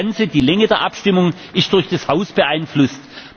Also das Ganze, die Länge der Abstimmung, ist durch das Haus beeinflusst.